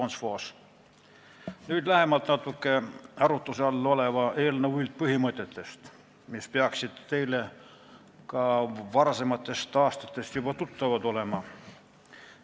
Nüüd natuke lähemalt arutuse all oleva eelnõu üldpõhimõtetest, mis peaksid teile ka varasematest aastatest juba tuttavad olema.